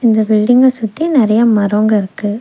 இந்த பில்டிங்க சுத்தி நெறைய மரம்ங்க இருக்கு.